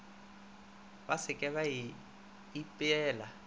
ba se ke ba ipeela